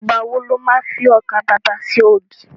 Ìgbà wo lo má fi ọkà babà ṣe ògì?